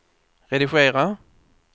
redigera